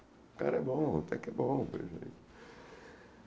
O cara é bom, até que é bom.